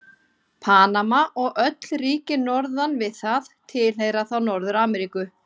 Panama og öll ríki norðan við það tilheyra þá Norður-Ameríku.